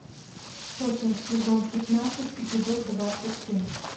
сотня сезон пятнадцать эпизод двадцать семь